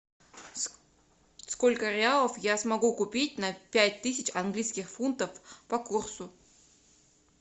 сколько реалов я смогу купить на пять тысяч английских фунтов по курсу